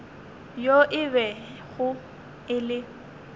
yo e bego e le